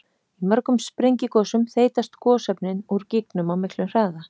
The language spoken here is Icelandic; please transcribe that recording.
Í mörgum sprengigosum þeytast gosefnin úr gígnum á miklum hraða.